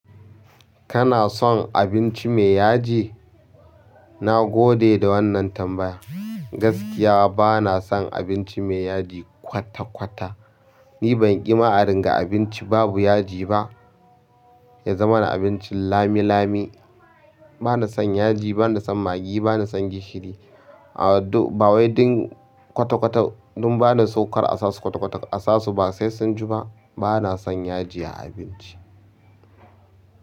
Kana son abinci me yaji? Na gode da wannan tambaya. Gaskiya bana son abinci me yaji kwata-kwata. Ni ban ƙi ma'adin ga abinci babu yaji ba, ya zama na abincin lami-lami. Bana son yaji, bana son magi, bana son gishiri. Aw dur-- ba wai duk kwata-kwata, dun bana so kar a sasu kwata-kwata ba. A sasu ba sai sun ji ba. Bana son yaji a abinci.